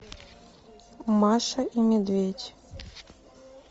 маша и медведь